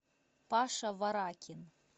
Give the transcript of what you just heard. паша варакин